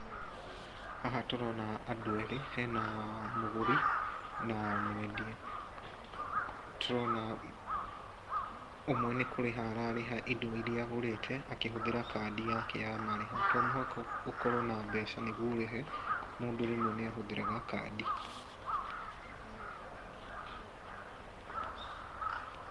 Haha tũrona andũ eeri .Hena mũgũri na mwendia, tũrona ũmwe nĩ kũrĩha ararĩha indo iria agũrĩte akĩhũthĩra kandi yake ya marĩhi. To mũhaka ũkorwo na mbeca nĩguo ũrĩhe mũndũ rĩmwe nĩahũthĩraga kandi.